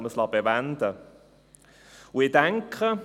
Dabei sollte man es bewenden lassen.